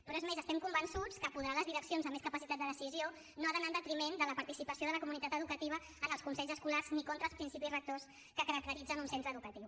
però és més estem convençuts que apoderar les direccions amb més capacitat de decisió no ha d’anar en detriment de la participació de la comunitat educativa en els consells escolars ni contra els principis rectors que caracteritzen un centre educatiu